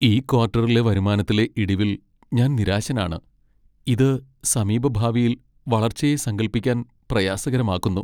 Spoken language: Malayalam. ഈ ക്വാർട്ടറിലെ വരുമാനത്തിലെ ഇടിവിൽ ഞാൻ നിരാശനാണ്, ഇത് സമീപഭാവിയിൽ വളർച്ചയെ സങ്കൽപ്പിക്കാൻ പ്രയാസകരമാക്കുന്നു.